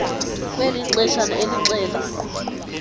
kweli ixeshana elixela